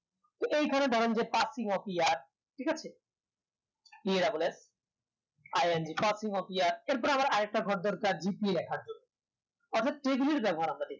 তো এখানে ধরেন যে passing of year ঠিক আছে এর পর আবার আর একটা ঘর দুয়ার রাখার জন্য